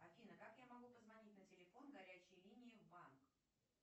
афина как я могу позвонить на телефон горячей линии в банк